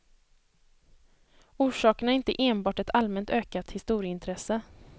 Orsaken är inte enbart ett allmänt ökat historieintresse.